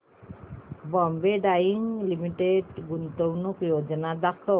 Bombay Dyeing Limited गुंतवणूक योजना दाखव